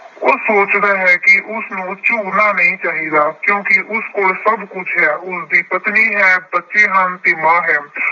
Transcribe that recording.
ਉਹ ਸੋਚਦਾ ਹੈ ਕਿ ਉਸਨੂੰ ਝੁਰਨਾ ਨਹੀਂ ਚਾਹੀਦਾ ਕਿਉਂਕਿ ਉਸ ਕੋਲ ਸਭ ਕੁਛ ਹੈ। ਉਸਦੀ ਪਤਨੀ ਹੈ, ਬੱਚੇ ਹਨ ਤੇ ਮਾਂ ਹੈ।